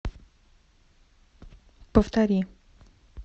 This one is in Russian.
повтори